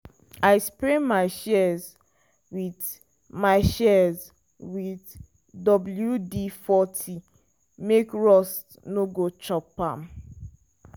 i spray my shears with my shears with wd40 make rust no go chop am.